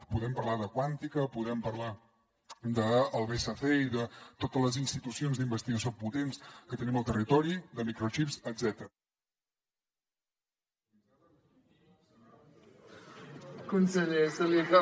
podem parlar de quàntica podem parlar del bsc i de totes les institucions d’investigació potents que tenim al territori de microxips etcètera